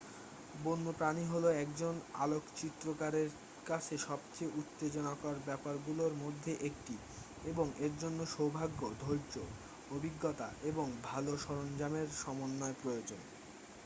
বন্যপ্রাণী হলো একজন আলোকচিত্রকারের কাছে সবচেয়ে উত্তেজনাকর ব্যাপারগুলোর মধ্যে একটি এবং এর জন্য সৌভাগ্য ধৈর্য অভিজ্ঞতা এবং ভাল সরঞ্জামের সমন্বয় প্রয়োজন